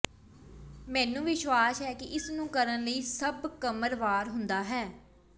ਮੈਨੂੰ ਵਿਸ਼ਵਾਸ ਹੈ ਕਿ ਇਸ ਨੂੰ ਕਰਨ ਲਈ ਸਭ ਕਮਰ ਵਾਰ ਹੁੰਦਾ ਹੈ